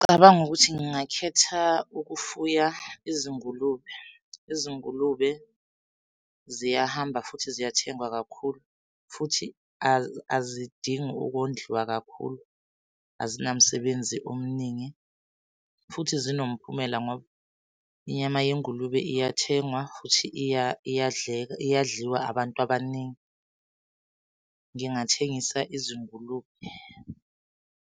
Ngicabanga ukuthi ngingakhetha ukufuya izingulube. Izingulube ziyahamba futhi ziyathengwa kakhulu futhi azidingi ukondliwa kakhulu, azinamsebenzi omningi. Futhi zinomphumela ngoba inyama yengulube iyathengwa futhi iyadleka, iyadliwa abantu abaningi. Ngingathengisa izingulube.